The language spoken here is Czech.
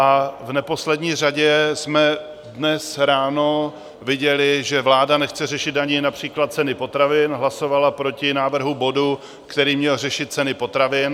A v neposlední řadě jsme dnes ráno viděli, že vláda nechce řešit ani například ceny potravin - hlasovala proti návrhu bodu, který měl řešit ceny potravin.